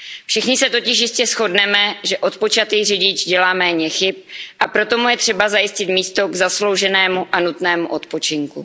Všichni se totiž jistě shodneme, že odpočatý řidič dělá méně chyb, a proto mu je třeba zajistit místo k zaslouženému a nutnému odpočinku.